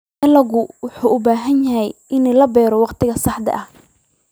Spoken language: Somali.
Dalaggu wuxuu u baahan yahay in la beero waqtiga saxda ah.